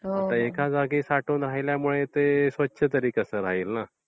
आता एका जागी साठून राहिल्यामुळे ते स्वच्छ तरी कसे राहील ना?